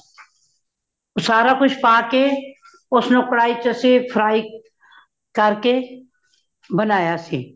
ਸਾਰਾ ਕੁਛ ਪਾਕੇ ,ਉਸਨੂੰ ਕਢਾਈ ਵਿਚ ਅਸੀ fry ਕਾਰਕੇ, ਬਨਾਯਾ ਸੀ